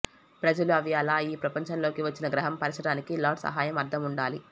ప్రజలు అవి అలా ఈ ప్రపంచంలోకి వచ్చిన గ్రహం పరచడానికి లార్డ్ సహాయం అర్థం ఉండాలి